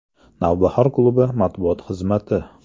“Navbahor” klubi matbuot xizmati !